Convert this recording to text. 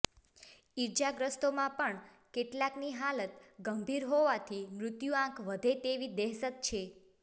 ઇજાગ્રસ્તોમાં પણ કેટલાકની હાલત ગંભીર હોવાથી મૃત્યુઆંક વધે તેવી દહેશત છે